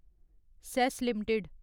cess limited